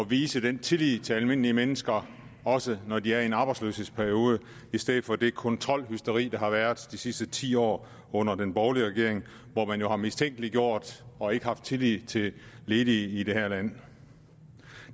vise den tillid til almindelige mennesker også når de er i en arbejdsløshedsperiode det i stedet for det kontrolhysteri der har været de sidste ti år under den borgerlige regering hvor man jo har mistænkeliggjort og ikke haft tillid til de ledige i det her land